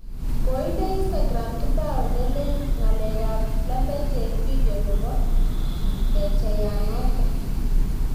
Koinde instakram kipao ne leen " ng'alek ab lembech" eng video nebo kecheiyanoto